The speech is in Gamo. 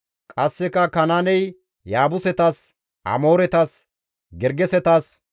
qasseka Kanaaney Yaabusetas, Amooretas, Gergesetas,